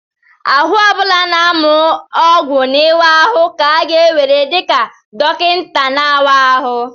Ahụ ọ bụla na-amụ ọgwụ na ịwa ahụ ka a ga-ewere dị ka dọkịta na-awa ahụ